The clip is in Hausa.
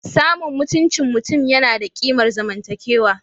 Samun mutuncin mutum yana da kimar zamantakewa